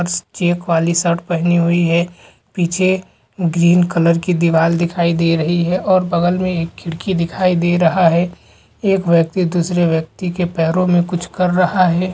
Check वाली shirt पहनी हुई है पीछे ग्रीन कलर की दीवार दिखाई दे रही है और बगल मे एक खिड़की दिखाई दे रहा है एक व्यक्ति दुसरे व्यक्ति के पेरो मे कुछ कर रहा है।